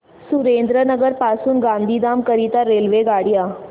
सुरेंद्रनगर पासून गांधीधाम करीता रेल्वेगाड्या